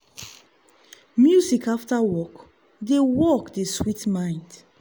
music after work dey work dey sweet mind.